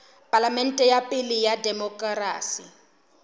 palamente ya pele ya demokerasi